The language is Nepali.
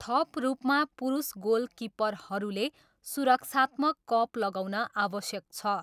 थप रूपमा, पुरुष गोलकिपरहरूले सुरक्षात्मक कप लगाउन आवश्यक छ।